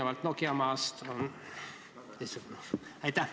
Mulle tundub, et see on nimelt Eesti Nokia.